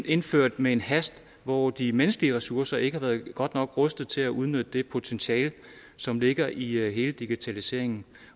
indført med en hast hvor de menneskelige ressourcer ikke har været godt nok rustet til at udnytte det potentiale som ligger i hele digitaliseringen